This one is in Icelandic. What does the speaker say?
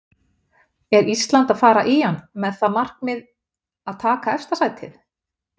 Er Ísland að fara í hann með það markmið að taka efsta sætið?